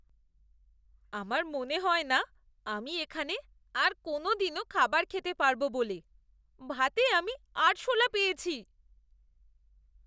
আমার মনে হয়না আমি এখানে আর কোনওদিনও খাবার খেতে পারব বলে, ভাতে আমি আরশোলা পেয়েছি।